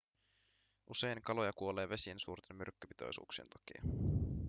usein kaloja kuolee vesien suurten myrkkypitoisuuksien takia